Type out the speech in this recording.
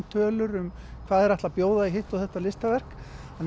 tölur hvað þeir ætla að bjóða í hitt og þetta listaverk